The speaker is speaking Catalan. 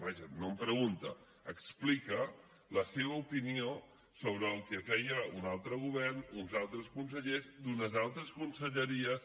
vaja no em pregunta explica la seva opinió sobre el que feia un altre govern uns altres consellers d’unes altres conselleries